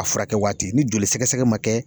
A furakɛ wagaati ni joli sɛgɛsɛgɛ man kɛ